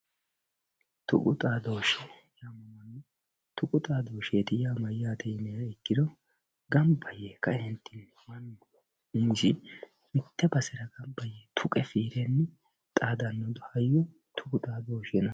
Tuqu xaadoshshe, tuqu xaadosheti yaa mayyate yiniha ikkiro gamba yee kae mite basera gamba yee tuqa xaadanoha tuqu xaadoshshe yinanni.